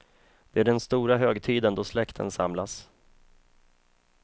Det är den stora högtiden då släkten samlas.